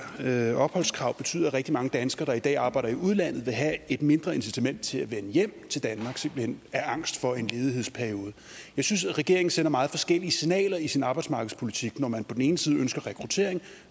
her opholdskrav betyde at rigtig mange danskere der i dag arbejder i udlandet vil have et mindre incitament til at vende hjem til danmark simpelt hen af angst for en ledighedsperiode jeg synes regeringen sender meget forskellige signaler i sin arbejdsmarkedspolitik når man på den ene side ønsker rekruttering